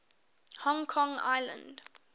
hong kong island